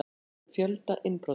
Grunaður um fjölda innbrota